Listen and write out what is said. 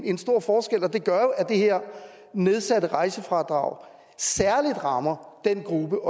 en stor forskel og det gør at det her nedsatte rejsefradrag særlig rammer den gruppe